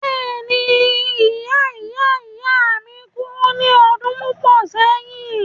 Bẹ́ẹ̀ni ìya ìya ìya mi kú ní ọdún púpọ̀ sẹ́yìn.